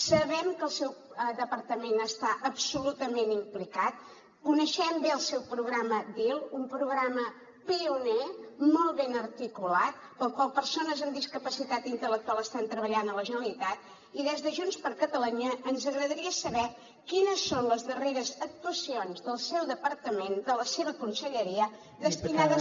sabem que el seu departament està absolutament implicat coneixem bé el seu programa dil un programa pioner molt ben articulat pel qual persones amb discapacitat intel·lectual estan treballant a la generalitat i des de junts per catalunya ens agradaria saber quines són les darreres actuacions del seu departament de la seva conselleria destinades